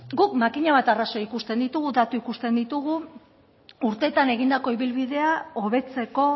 guk makina bat arrazoi ikusten ditugu datu ikusten ditugu urteetan egindako ibilbidea hobetzeko